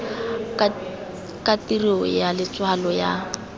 ka tirio ya letshwalo la